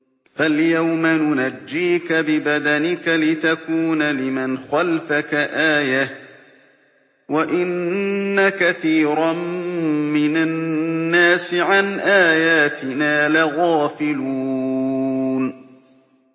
فَالْيَوْمَ نُنَجِّيكَ بِبَدَنِكَ لِتَكُونَ لِمَنْ خَلْفَكَ آيَةً ۚ وَإِنَّ كَثِيرًا مِّنَ النَّاسِ عَنْ آيَاتِنَا لَغَافِلُونَ